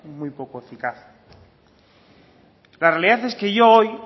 muy poco eficaz la realidad es que yo hoy